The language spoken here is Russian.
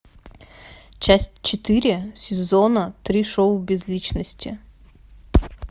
часть четыре сезона три шоу без личности